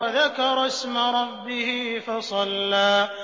وَذَكَرَ اسْمَ رَبِّهِ فَصَلَّىٰ